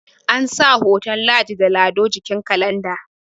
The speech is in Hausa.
ansa hoton ladi da lado a jikin kalanda